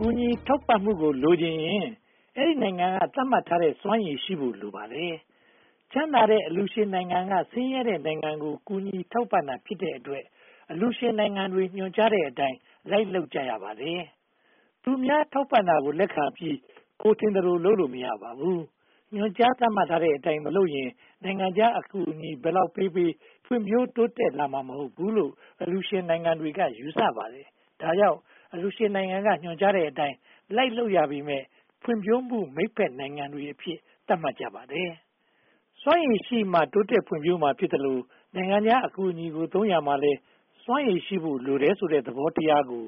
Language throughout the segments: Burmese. ကူညီထောက်ပံ့ရေးကို လိုချင်ရင် အဲဒီနိုင်ငံက သတ်မှတ်ထားတဲ့ စွမ်းရည်ရှိဖို့ လိုပါတယ်။ ချမ်းသာတဲ့အလှူရှင်နိုင်ငံက ဆင်းရဲတဲ့နိုင်ငံကို ကူညီထောက်ပံ့တာဖြစ်တဲ့အတွက် အလှူရှင်နိုင်ငံတွေ ညွှန်ကြားတဲ့အတိုင်း လိုက်လုပ်ကြရပါတယ်။ သူများထောက်ပံ့တာကို လက်ခံပြီး ကိုယ်ထင်သလို လုပ်လို့မရပါဘူး။ ညွှန်ကြားသတ်မှတ်ထားတဲ့အတိုင်း မလုပ်ရင် နိုင်ငံခြားအကူအညီ ဘယ်လောက်ပေးပေး ဖွံ့ဖြိုးတိုးတက်လာမှာ မဟုတ်ဘူးလို့ အလှူရှင်နိုင်ငံတွေက ယူဆပါတယ်။ ဒါကြောင့် အလှူရှင်နိုင်ငံက ညွှန်ကြားတဲ့အတိုင်း လိုက်လုပ်ရပေမယ့် ဖွံ့ဖြိုးမှုမိတ်ဖက်နိုင်ငံတွေအဖြစ် သတ်မှတ်ကြပါတယ်။ စွမ်းရည်ရှိမှ တိုးတက်ဖွံ့ဖြိုးမှာ ဖြစ်သလို နိုင်ငံခြားအကူအညီကို သုံးရာမှာလည်း စွမ်းရည်ရှိဖို့ လိုတယ်ဆိုတဲ့ သဘောတရားကို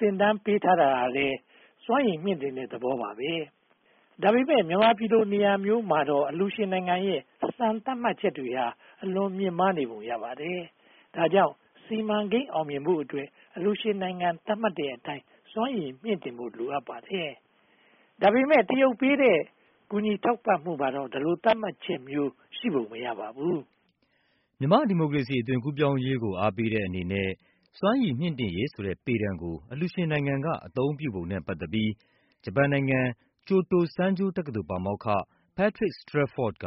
သင်တန်းပေးတာဟာလည်း စွမ်းရည်မြှင့်တင်တဲ့သဘော ဖြစ်ပါတယ်။ ဒါပေမဲ့ မြန်မာပြည်လို နေရာမျိုးမှာတော့ အလှူရှင်နိုင်ငံရဲ့ စံသတ်မှတ်ချက်တွေဟာ အလွန်မြင့်မားနေပုံရပါတယ်။ ဒါကြောင့် စီမံကိန်းအောင်မြင်ဖို့အတွက် အလှူရှင်နိုင်ငံ သတ်မှတ်တဲ့အတိုင်း စွမ်းရည်မြှင့်တင်နိုင်ဖို့ လိုအပ်ပါတယ်။ ဒါပေမဲ့ တရုတ်ပေးတဲ့ ကူညီထောက်ပံ့မှုမှာတော့ ဒီလိုသတ်မှတ်ချက်မျိုးရှိပုံ မရပါဘူး။ မြန်မာ့ဒီမိုကရေစီ အသွင်ကူးပြောင်းရေးကို အားပေးတဲ့အနေနဲ့ စွမ်းရည်မြှင့်တင်ရေးဆိုတဲ့ ပေတံကို အလှူရှင်နိုင်ငံက အသုံးပြုပုံနဲ့ ပတ်သက်ပြီး ဂျပန်နိုင်ငံ ကျိုတိုစန်းဂျိုးတက္ကသိုလ် ပါမောက္ခ Patrick Strefford က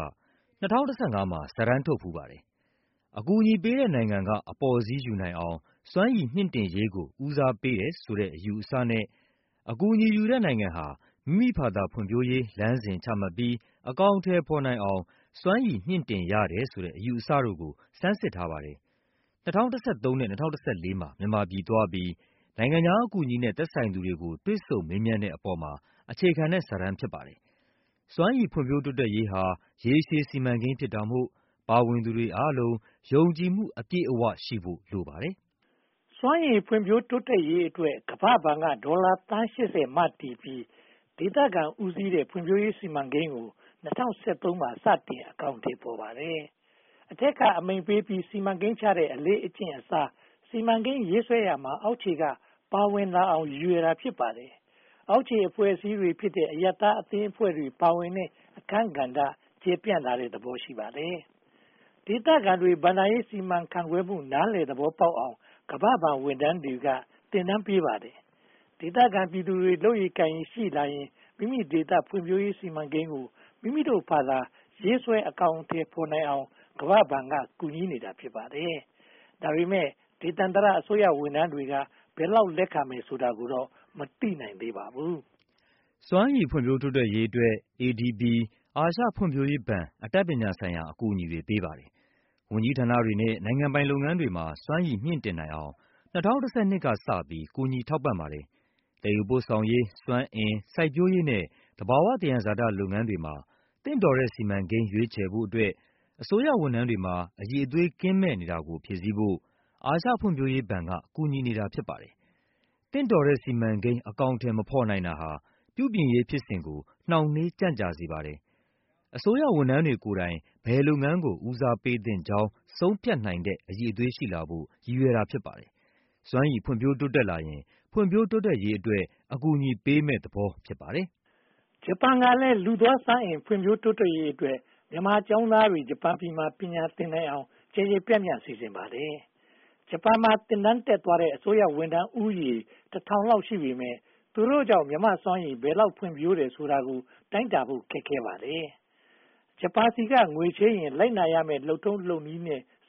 ၂၀၁၅ မှာ စာတမ်းထုတ်ဖူးပါတယ်။ အကူအညီပေးတဲ့နိုင်ငံက အပေါ်စီးရယူနိုင်အောင် စွမ်းရည်မြှင့်တင်ရေးကို ဦးစားပေးတယ်ဆိုတဲ့ အယူအဆနဲ့ အကူအညီယူတဲ့ နိုင်ငံဟာ မိမိဘာသာ ဖွံ့ဖြိုးရေးလမ်းစဉ် ချမှတ်ပြီး အကောင်အထည်ဖော်နိုင်အောင် စွမ်းရည်မြှင့်တင်ရတယ်ဆိုတဲ့ အယူအဆတို့ကို ဆန်းစစ်ထားပါတယ်။ ၂၀၁၃ နဲ့ ၂၀၁၄ မှာ မြန်မာပြည်သွားပြီး နိုင်ငံခြားအကူအညီနဲ့ သက်ဆိုင်သူတွေကို တွေ့ဆုံမေးမြန်းတဲ့အပေါ်မှာ အခြေခံတဲ့စာတမ်း ဖြစ်ပါတယ်။ စွမ်းရည်ဖွံ့ဖြိုးတိုးတက်ရေးဟာ ရေရှည်စီမံကိန်းဖြစ်တာမို့ ပါဝင်သူတွေအားလုံး ယုံကြည်မှုအပြည့်အဝရှိဖို့ လိုပါတယ်။ စွမ်းရည်ဖွံ့ဖြိုးတိုးတက်ရေးအတွက် ကမ္ဘာ့ဘဏ်က ဒေါ်လာသန်း (၈၀) မတည်ပြီး ဒေသခံဦးစီးတဲ့ ဖွံ့ဖြိုးရေးစီမံကိန်းကို ၂၀၁၃ မှာ စတင်အကောင်အထည်ဖော်ပါတယ်။ အထက်က အမိန့်ပေးပြီး စီမံကိန်းချတဲ့ အလေ့အကျင့်အစား စီမံကိန်းရေးဆွဲရာမှာ အောက်ခြေက ပါဝင်လာအောင် ရည်ရွယ်တာ ဖြစ်ပါတယ်။ အောက်ခြေအဖွဲ့အစည်းဖြစ်တဲ့ အရပ်သားအသင်းအဖွဲ့တွေ ပါဝင်တဲ့အခန်းကဏ္ဍ ကျယ်ပြန့်လာတဲ့သဘော ရှိပါတယ်။ ဒေသခံတွေ ဘဏ္ဍာရေးစီမံခန့်ခွဲမှု နားလည်သဘောပေါက်အောင် ကမ္ဘာ့ဘဏ်ဝန်ထမ်းတွေက သင်တန်းပေးပါတယ်။ ဒေသခံပြည်သူတွေ လုပ်ရည်ကိုင်ရည်ရှိလာရင် မိမိဒေသဖွံ့ဖြိုးရေး စီမံကိန်းကို မိမိတို့ဘာသာ ရေးဆွဲအကောင်အထည်ဖော်နိုင်အောင် ကမ္ဘာ့ဘဏ်က ကူညီနေတာ ဖြစ်ပါတယ်။ ဒါပေမဲ့ ဒေသန္တရအစိုးရဝန်ထမ်းတွေက ဘယ်လောက်လက်ခံမယ်ဆိုတာကိုတော့ မသိနိုင်သေးပါဘူး။ စွမ်းရည်ဖွံ့ဖြိုးတိုးတက်ရေးအတွက် ADB အာရှဖွံ့ဖြိုးရေးဘဏ် အတတ်ပညာဆိုင်ရာ အကူအညီတွေ ပေးပါတယ်။ ဝန်ကြီးဌာနတွေနဲ့ နိုင်ငံပိုင်လုပ်ငန်းတွေမှာ စွမ်းရည်မြှင့်တင်နိုင်အောင် ၂၀၁၂ ကစပြီး ကူညီထောက်ပံ့ပါတယ်။ သယ်ယူပို့ဆောင်ရေး၊ စွမ်းအင်၊ စိုက်ပျိုးရေးနဲ့ သဘာဝသယံဇာတ လုပ်ငန်းတွေမှာ သင့်တော်တဲ့ စီမံကိန်းရွေးချယ်ဖို့အတွက် အစိုးရဝန်ထမ်းတွေမှာ အရည်အသွေးကင်းမဲ့နေတာကို ဖြည့်ဆည်းဖို့ အာရှဖွံ့ဖြိုးရေးဘဏ်က ကူညီနေတာ ဖြစ်ပါတယ်။ သင့်တော်တဲ့ စီမံကိန်း အကောင်အထည်မဖော်နိုင်တာဟာ ပြုပြင်ရေးဖြစ်စဉ်ကို နှောင့်နှေးကြန့်ကြာစေပါတယ်။ အစိုးရဝန်ထမ်းတွေကိုယ်တိုင် ဘယ်လုပ်ငန်းကို ဦးစားပေးသင့်ကြောင်း ဆုံးဖြတ်နိုင်တဲ့ အရည်အသွေးရှိလာဖို့ ရည်ရွယ်တာ ဖြစ်ပါတယ်။ စွမ်းရည်ဖွံ့ဖြိုးတိုးတက်လာရင် ဖွံ့ဖြိုးတိုးတက်ရေးအတွက် အကူအညီပေးမယ့်သဘော ဖြစ်ပါတယ်။ ဂျပန်ကလည်း လူသားစွမ်းအင် ဖွံ့ဖြိုးတိုးတက်ရေးအတွက် မြန်မာကျောင်းသားတွေ ဂျပန်မှာ ပညာသင်နိုင်အောင် ကျယ်ကျယ်ပြန့်ပြန့် စီစဉ်ပါတယ်။ ဂျပန်မှာ သင်တန်းတက်သွားတဲ့ အစိုးရဝန်ထမ်းဦးရေ တထောင်လောက်ရှိပေမယ့် သူတို့ကြောင့် မြန်မာ့စွမ်းရည် ဘယ်လောက်ဖွံ့ဖြိုးတယ်ဆိုတာကို တိုင်းတာဖို့ခက်ခဲပါတယ်။ ဂျပန်ဆီက ငွေချေးရင် လိုက်နာရမယ့် လုပ်နည်းလုပ်ထုံးနဲ့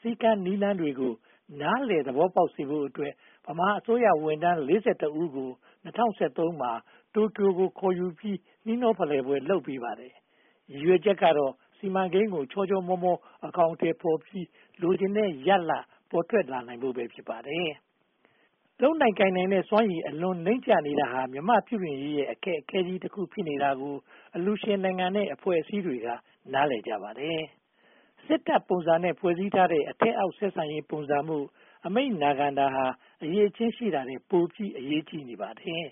စည်းကမ်းနည်းလမ်းတွေကို နားလည်သဘောပေါက်စေဖို့အတွက် ဗမာအစိုးရဝန်ထမ်း (၄၁) ဦးကို ၂၀၁၃ မှာ တိုကျိုကို ခေါ်ယူပြီး နှီးနှောဖလှယ်ပွဲတွေ လုပ်ပေးပါတယ်။ ရည်ရွယ်ချက်ကတော့ စီမံကိန်းကို ချောချောမောမော အကောင်အထည်ဖော်ပြီး လိုချင်တဲ့ရလဒ် ပေါ်ထွက်လာနိုင်ဖို့ပဲ ဖြစ်ပါတယ်။ လုပ်နိုင်ကိုင်နိုင်တဲ့ စွမ်းရည်အလွန်နိမ့်ကျနေတာဟာ မြန်မာ့ပြုပြင်ရေးရဲ့ အခက်အခဲကြီးတခု ဖြစ်နေတာကို အလှူရှင်နိုင်ငံနဲ့ အဖွဲ့အစည်းတွေက နားလည်ကြပါတယ်။ စစ်တပ်ပုံစံနဲ့ ဖွဲ့စည်းထားတဲ့ အထက်အောက်ဆက်ဆံရေးပုံစံမို့ အမိန့်နာခံတာဟာ အရည်အချင်း ရှိတာထက် ပိုအရေးကြီးနေပါတယ်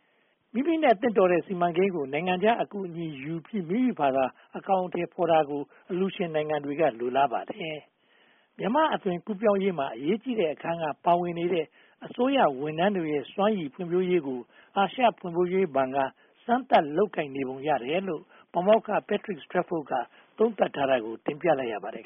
။ မိမိနဲ့ သင့်တော်တဲ့ စီမံကိန်းကို နိုင်ငံခြားအကူအညီယူပြီး မိမိဘာသာ အကောင်အထည်ဖော်တာကို အလှူရှင်နိုင်ငံတွေက လိုလားပါတယ်။ မြန်မာ့အသွင်ကူးပြောင်းရေးမှာ အရေးကြီးတဲ့ အခန်းကနေ ပါဝင်နေတဲ့ အစိုးရဝန်ထမ်းတွေရဲ့ စွမ်းရည်ဖွံ့ဖြိုးရေးကို အာရှဖွံ့ဖြိုးရေးဘဏ်က စမ်းသပ်လုပ်ကိုင်နေပုံရတယ်လို့ ပါမောက္ခ Patrick Strefford က သုံးသပ်ထားတာကို တင်ပြလိုက်ရပါတယ်